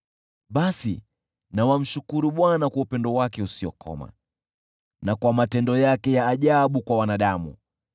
Basi na wamshukuru Bwana kwa upendo wake usiokoma, na kwa matendo yake ya ajabu kwa wanadamu,